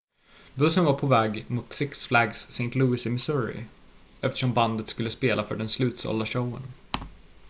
bussen var påväg mot six flags st louis i missouri eftersom bandet skulle spela för den slutsålda showen